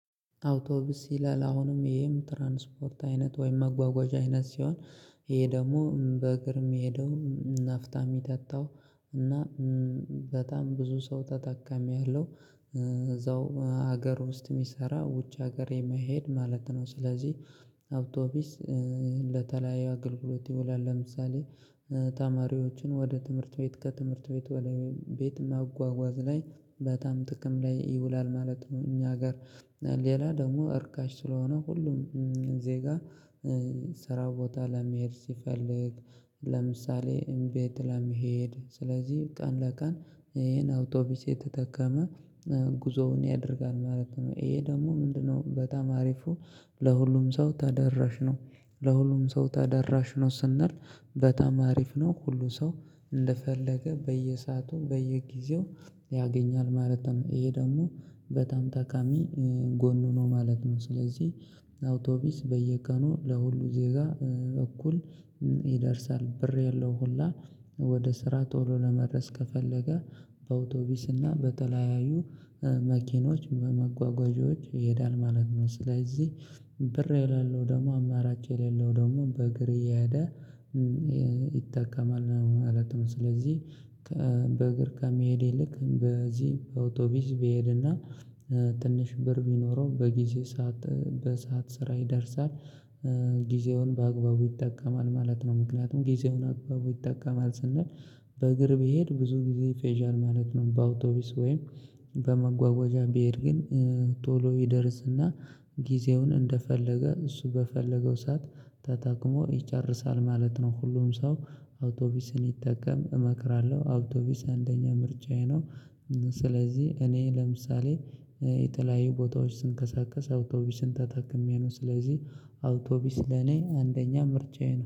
አውቶብስ ይላል አሁንም ይሄም ትራንስፖርት አይነት ወይም መጓጓዣ አይነት ሲሆን ይሄ ደግሞ በእግር የሚሄደው ናፍታ የሚጠጣው እና በጣም ብዙ ሰው ተጠቃሚ ያለው እዛው ሀገር ውስጥ ሚሰራ ውጭ ሀገር የማይሄድ ማለት ነው። ስለዚህ አውቶቢስ ለተለያዩ አገልግሎት ይውላል። ለምሳሌ ተማሪዎችን ወደ ትምህርት ቤት ከትምህርት ቤት ወደ ቤት ማጓጓዝ ላይ በጣም ጥቅም ላይ ይውላል ማለት ነው። እኛ ሀገር ሌላ ደግሞ እርካሽ ስለሆነ ሁሉም ዜጋ ስራ ቦታ ለመሄድ ሲፈልግ። ለምሳሌ እምቤ ለመሄድ ስለዚህ ቀን ለቀን ይሄን አውቶቢስ የተጠቀመ ጉዞውን ያደርጋል ማለት ነው። ይሄ ደግሞ ምንድነው? በጣም አሪፉ ለሁሉም ሰው ተደራሽ ነው። ለሁሉም ሰው ተደራሽ ነው ስንል በጣም አሪፍ ነው። ሁሉ ሰው እንደፈለገ በየሰአቱ በየጊዜው ያገኛል ማለት ነው። ይሄ ደግሞ በጣም ታካሚ ጎኑ ነው ማለት ነው። ስለዚህ አውቶቢስ በየቀኑ ለሁሉ ዜጋ እኩል ይደርሳል። ብር የለው ሁላ ወደ ስራ ቶሎ ለመድረስ ከፈለገ በአውቶቢስ እና በተለያዩ መኪኖች በመጓጓዣዎች ይሄዳል ማለት ነው። ስለዚህ ብር የሌለው ደግሞ አማራጭ የሌለው ደግሞ በእግር እየሄደ ይጠቀማል ነው ማለት ነው። ስለዚህ በእግር ከመሄዴ ይልቅ በዚህ በአውቶቢስ በሄድና ትንሽ ብር ቢኖረው በጊዜ ሰዓት በሰአት ስራ ይደርሳል ጊዜውን በአግባቡ ይጠቀማል ማለት ነው። ምክንያቱም ጊዜውን አግባቡ ይጠቀማል ስንል በእግር ብሄድ ብዙ ጊዜ ይፈዣል ማለት ነው። በአውቶቢስ ወይም በመጓወጃ ቢሄድ ግን ቶሎ ይደርስና ጊዜውን እንደፈለገ እሱ በፈለገው ሰዓት ተጠቅሞ ይጨርሳል ማለት ነው። ሁሉም ሰው አውቶቢስን ይጠቀም እመክራለሁ አውቶቢስ አንደኛ ምርጫዬ ነው። ስለዚህ እኔ ለምሳሌ የተለያዩ ቦታዎች ስንቀሳቀስ አውቶቢስን ተጠቅሜ ነው። ስለዚህ አውቶቢስ ለኔ አንደኛ ምርጫዬን